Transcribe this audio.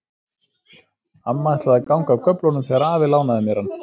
Amma ætlaði að ganga af göflunum þegar afi lánaði mér hann.